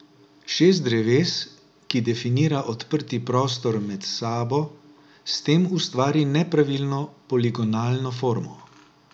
Šest dreves, ki definira odprti prostor med sabo, s tem ustvari nepravilno poligonalno formo.